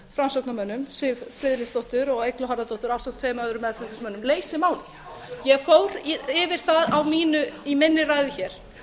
framsóknarmönnum siv friðleifsdóttur og eygló harðardóttur ásamt tveimur öðrum meðflutningsmönnum leysi málið ég fór yfir það í minni ræðu hér